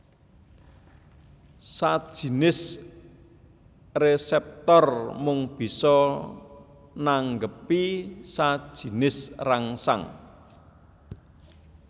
Sajinis reseptor mung bisa nanggepi sajinis rangsang